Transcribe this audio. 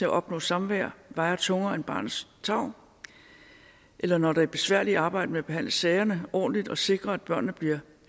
at opnå samvær vejer tungere end barnets tarv eller når det besværlige arbejde med at behandle sagerne ordentligt og sikre at børnene bliver